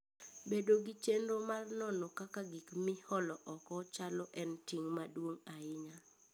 Bedo gi chenro mar nono kaka gik miolo oko chalo en ting' maduong' ahinya.